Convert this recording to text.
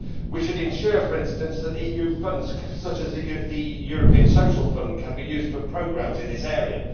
We should ensure, for instance, that EU funds, such as the European Social Fund, can be used for programmes in this area.